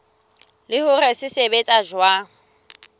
le hore se sebetsa jwang